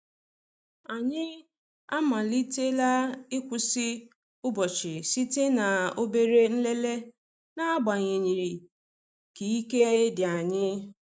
Anyị amalitela ịkwụsị ụbọchị site na obere nlele, na-agbanyeghi ka ike di anyi.